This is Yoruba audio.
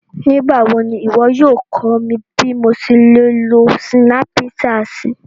Nigbawo ni iwọ yóò kọ mi bi mo ṣe le lo Sinapṣatì?